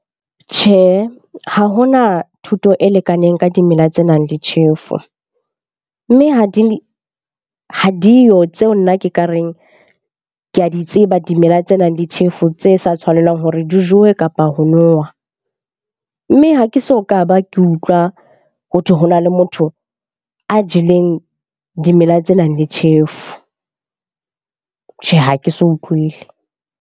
Tjhe, ha hona thuto e lekaneng ka dimela tse nang le tjhefo. Mme ha di yo tseo nna ke ka reng ke a di tseba dimela tse nang le tjhefo tse sa tshwanelang hore re di jowe kapa ho nowa. Mme ha ke so ka ba ke utlwa. Ho thwe ho na le motho a jeleng dimela tse nang le tjhefu. Tjhe, ha ke so utlwele.